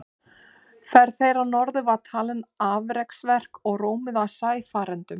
Ferð þeirra norður var talin afreksverk og rómuð af sæfarendum.